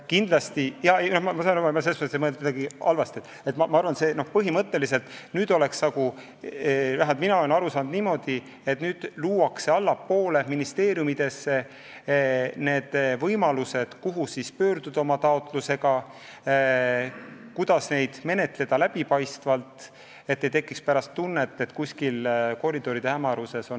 Mina olen aru saanud, et nüüd hakkab olema võimalus pöörduda ministeeriumidesse oma taotlusega ja taotlusi menetletakse läbipaistvalt, nii et ei tekiks tunnet, et otsused on sündinud kuskil koridoride hämaruses.